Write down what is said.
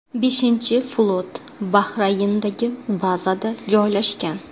Beshinchi flot Bahrayndagi bazada joylashgan.